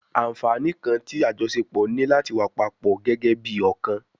Anfaani kan ti ajọṣepọ ni lati wa papọ gẹgẹbi ọkan